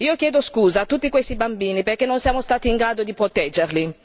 Io chiedo scusa a tutti questi bambini perché non siamo stati in grado di proteggerli!